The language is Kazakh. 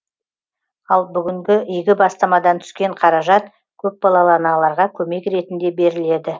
ал бүгінгі игі бастамадан түскен қаражат көпбалалы аналарға көмек ретінде беріледі